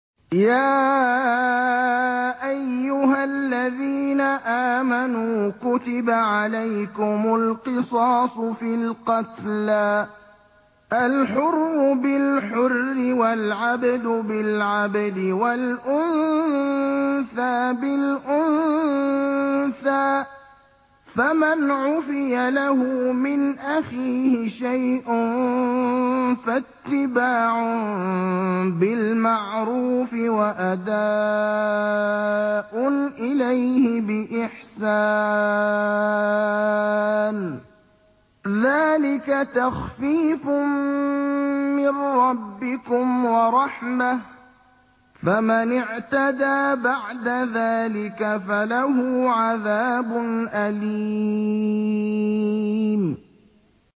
يَا أَيُّهَا الَّذِينَ آمَنُوا كُتِبَ عَلَيْكُمُ الْقِصَاصُ فِي الْقَتْلَى ۖ الْحُرُّ بِالْحُرِّ وَالْعَبْدُ بِالْعَبْدِ وَالْأُنثَىٰ بِالْأُنثَىٰ ۚ فَمَنْ عُفِيَ لَهُ مِنْ أَخِيهِ شَيْءٌ فَاتِّبَاعٌ بِالْمَعْرُوفِ وَأَدَاءٌ إِلَيْهِ بِإِحْسَانٍ ۗ ذَٰلِكَ تَخْفِيفٌ مِّن رَّبِّكُمْ وَرَحْمَةٌ ۗ فَمَنِ اعْتَدَىٰ بَعْدَ ذَٰلِكَ فَلَهُ عَذَابٌ أَلِيمٌ